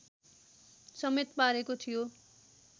समेत पारेको थियो